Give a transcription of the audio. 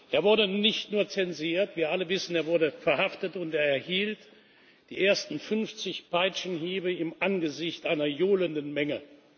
Er wurde nicht nur zensiert. Wir alle wissen Er wurde inhaftiert, und er erhielt die ersten 50 Peitschenhiebe im Angesicht einer johlenden Menge.